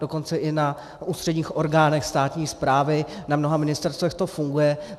Dokonce i na ústředních orgánech státní správy, na mnoha ministerstvech to funguje.